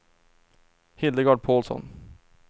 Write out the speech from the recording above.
Hildegard Paulsson